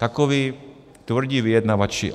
Takoví tvrdí vyjednavači.